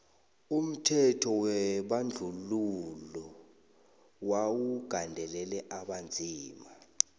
umthetho webandluhilo wawu gandelela abonzima